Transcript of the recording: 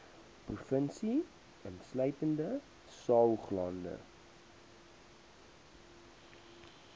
provinsie insluitende saoglande